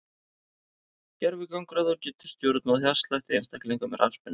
Gervigangráður getur stjórnað hjartslætti einstaklinga með rafspennu.